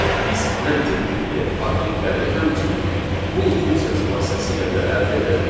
Biz məntiq tipli obyektləri həmçinin bu funksiyası vasitəsilə də əldə edə bilərik.